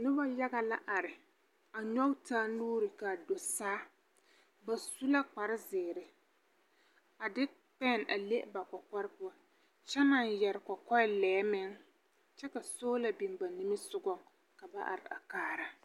Noba yaga la are. A nyɔge taa nuuri kaa do saa. Ba su la kparezeere, a de pɛɛn a le ba kɔkɔre poɔ, kyɛ naŋ yɛre kɔkɔɛlɛɛ meŋ, kyɛ ka soola biŋ ba nimisogɔ, ka ba are a kaara.